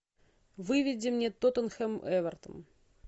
выведи мне тоттенхэм эвертон